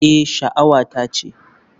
Eh, sha'awata ce.